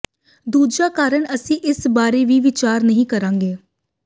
ਦੂਜਾ ਕਾਰਣ ਅਸੀਂ ਇਸ ਬਾਰੇ ਵੀ ਵਿਚਾਰ ਨਹੀਂ ਕਰਾਂਗੇ